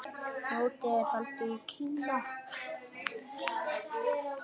Mótið er haldið í Kína.